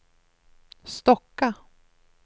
Stocka